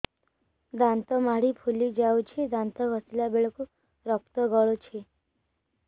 ଦାନ୍ତ ମାଢ଼ୀ ଫୁଲି ଯାଉଛି ଦାନ୍ତ ଘଷିଲା ବେଳକୁ ରକ୍ତ ଗଳୁଛି